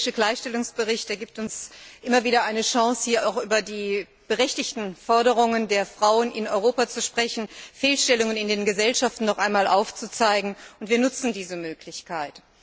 Der jährliche Gleichstellungsbericht gibt uns immer wieder eine Chance, hier über die berechtigten Forderungen der Frauen in Europa zu sprechen, Fehlstellungen in den Gesellschaften noch einmal aufzuzeigen, und wir nutzen diese Möglichkeit.